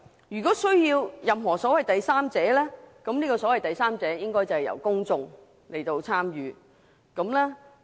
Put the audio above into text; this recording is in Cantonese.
如需任何所謂第三者，這個所謂第三者應由公眾參與。